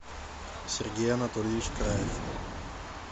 сергей анатольевич краев